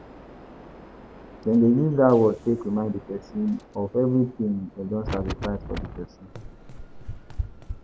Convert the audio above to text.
Dem de use that word take remind di persin of every thing dem don sacrifice for di persin